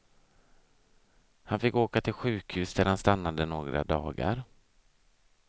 Han fick åka till sjukhus där han stannade några dagar.